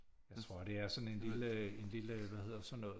Jeg tror det er sådan en lille en lille hvad hedder sådan noget